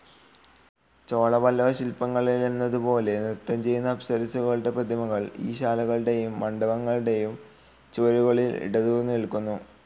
ചോളപല്ലവശില്പങ്ങളിലെന്നതുപോലെ നൃത്തംചെയ്യുന്ന അപ്സരസ്സുകളുടെ പ്രതിമകൾ ഈ ശാലകളുടെയും മണ്ഡപങ്ങളുടെയും ചുവരുകളിൽ ഇടതൂർന്നുനില്ക്കുന്നു.